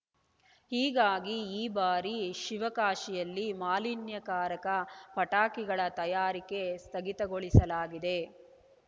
ಹೀಗಾಗಿ ಈ ಬಾರಿ ಶಿವಕಾಶಿಯಲ್ಲಿ ಮಾಲಿನ್ಯಕಾರಕ ಪಟಾಕಿಗಳ ತಯಾರಿಕೆ ಸ್ಥಗಿತಗೊಳಿಸಲಾಗಿದೆ